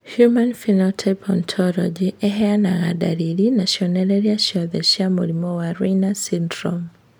Human Phenotype Ontology ĩheanaga ndariri na cionereria ciothe cia mũrimũ wa Raine syndrome.